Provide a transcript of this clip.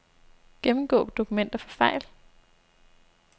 Gennemgå dokumenter for fejl.